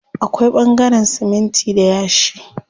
Akwai ɓangaren siminti da yashi.